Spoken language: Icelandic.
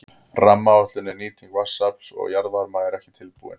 Rammaáætlun um nýtingu vatnsafls og jarðvarma er ekki tilbúin.